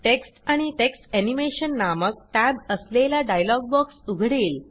text आणि text animation नामक tab असलेला डायलॉग बॉक्स उघडेल